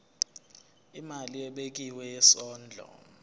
imali ebekiwe yesondlo